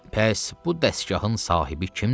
Bəs bu dəstgahın sahibi kimdir?